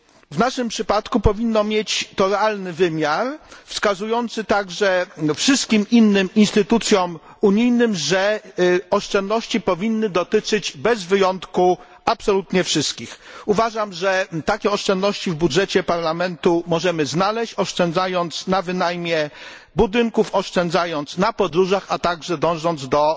W naszym przypadku powinno mieć to realny wymiar wskazujący także wszystkim innym instytucjom unijnym, że oszczędności powinny dotyczyć absolutnie wszystkich bez wyjątku. Uważam, że takie oszczędności w budżecie Parlamentu możemy znaleźć, oszczędzając na wynajmie budynków, oszczędzając na podróżach, a także dążąc do